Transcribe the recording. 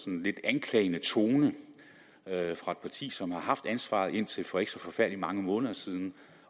en lidt anklagende tone fra et parti som har haft ansvaret indtil for ikke så forfærdelig mange måneder siden